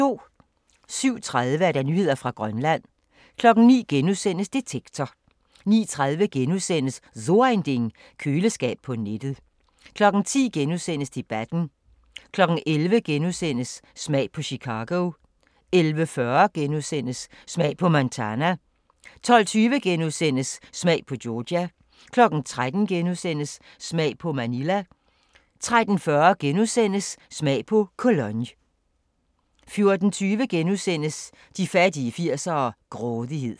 07:30: Nyheder fra Grønland 09:00: Detektor * 09:30: So Ein Ding: Køleskab på nettet * 10:00: Debatten * 11:00: Smag på Chicago * 11:40: Smag på Montana * 12:20: Smag på Georgia * 13:00: Smag på Manila * 13:40: Smag på Cologne * 14:20: De fattige 80'ere: Grådighed *